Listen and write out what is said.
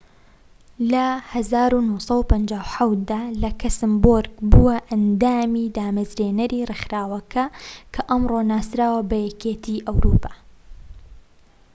لە ١٩٥٧ دا لەکسەمبۆرگ بووە ئەندامی دامەزرێنەری ڕێکخراوەکە کە ئەمڕۆ ناسراوە بە یەکێتی ئەوروپا